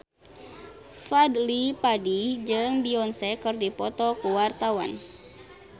Fadly Padi jeung Beyonce keur dipoto ku wartawan